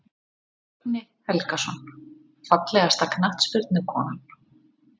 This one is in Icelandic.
Högni Helgason Fallegasta knattspyrnukonan?